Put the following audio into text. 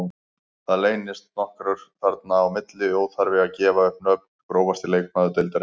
Það leynast nokkrir þarna inn á milli, óþarfi að gefa upp nöfn Grófasti leikmaður deildarinnar?